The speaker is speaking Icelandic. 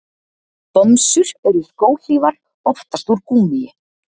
Bomsur eru skóhlífar, oftast úr gúmmíi.